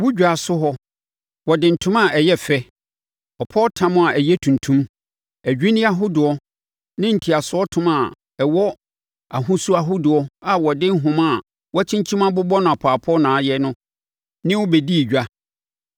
Wo dwaaso hɔ, wɔde ntoma a ɛyɛ fɛ, ɔpɔwtam a ɛyɛ tuntum, adwinneɛ ahodoɔ ne ntiasoɔtoma a ɛwɔ ahosu ahodoɔ a wɔde nhoma a wɔakyinkyim abobɔ no apɔɔpɔ na ayɛ ne wo bɛdii edwa.